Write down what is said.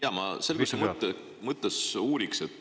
Jaa, ma selguse mõttes uurin.